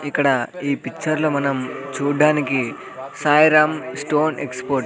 ఇక్కడ ఈ పిక్చర్ లో మనం చూడ్డానికి సాయి రామ్ స్టోన్ ఎక్స్పోర్ట్ --